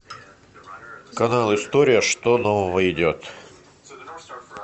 канал история что нового идет